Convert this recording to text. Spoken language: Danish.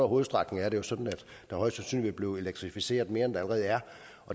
hovedstrækningerne er sådan at der højst sandsynligt vil blive elektrificeret mere end der allerede er